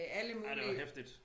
Ja det var heftigt